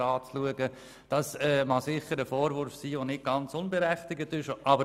Auf der einen Seite mag dies sicher ein Vorwurf sein, der nicht ganz unberechtigt ist.